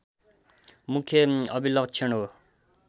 मुख्य अभिलक्षण हो